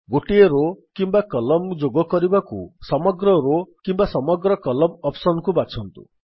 ଗୋଟିଏ ରୋ କିମ୍ୱା କଲମ୍ନ ଯୋଗ କରିବାକୁ ସମଗ୍ର ରୋ କିମ୍ୱା ସମଗ୍ର କଲମ୍ନ ଅପ୍ସନ୍ ବାଛନ୍ତୁ